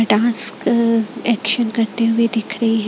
Dance action करते हुए दिख रही है।